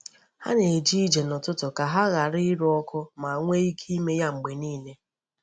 Ha na-eje ije n’ụtụtụ ka ha ghara iru ọkụ ma nwee ike ime ya mgbe niile.